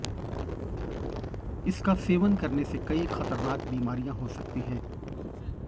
इसका सेवन करने से कई खतरनाक बीमारियां हो सकती है